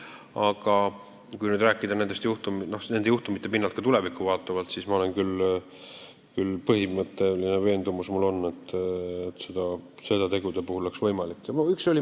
Aga kui nüüd rääkida niisuguste juhtumite pinnalt ka tulevikku vaatavalt, siis ma olen küll veendunud, et teatud tegude puhul peaks aegumistähtaega pikendama.